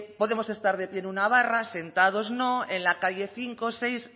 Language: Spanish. podemos estar de pie en una barra sentados no en la calle cinco seis